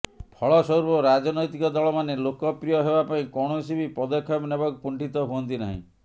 ଫଳସ୍ୱରୂପ ରାଜନୈତିକ ଦଳ ମାନେ ଲୋକପ୍ରିୟ ହେବା ପାଇଁ କୌଣସି ବି ପଦକ୍ଷେପ ନେବାକୁ କୁଣ୍ଠିତ ହୁଅନ୍ତି ନାହିଁ